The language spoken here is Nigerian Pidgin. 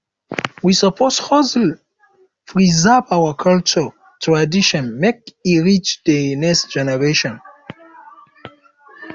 we suppose hustle preserve our cultural traditions make e reach de next generation